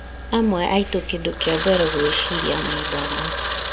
Amwe aitũ kĩndũ kĩa mbere gwĩciria nĩ ndawa